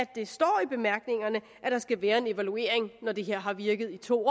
det står i bemærkningerne at der skal være en evaluering når det her har virket i to år